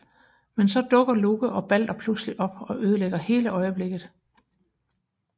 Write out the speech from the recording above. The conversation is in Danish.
Men så dukker Loke og Balder pludselig op og ødelægger hele øjeblikket